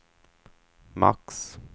max